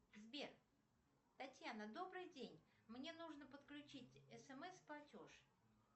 сбер татьяна добрый день мне нужно подключить смс платеж